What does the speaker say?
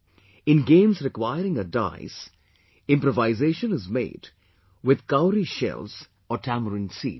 In games requiring a dice, improvisation is made with cowrie shells or tamarind seeds